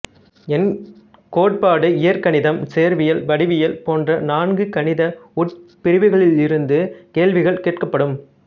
எண் கோட்பாடு இயற்கணிதம் சேர்வியல் வடிவியல் போன்ற நான்கு கணித உட்பிரிவுகளிலிருந்து கேள்விகள் கேட்கப்படும்